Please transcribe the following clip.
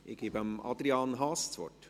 Ich erteile Adrian Haas das Wort.